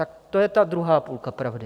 Tak to je ta druhá půlka pravdy.